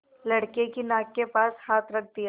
लड़के की नाक के पास हाथ रख दिया